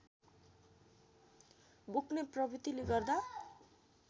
बोक्ने प्रवृत्तिले गर्दा